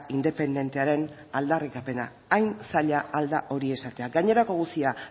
independentearen aldarrikapena hain zaila al da hori esatea gainerako guztia